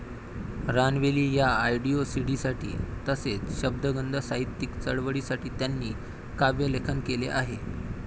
रानवेली या ऑडिओ सीडीसाठी तसेच शब्दगंध साहित्यिक चळवळी साठी त्यांनी काव्यलेखन केले आहे.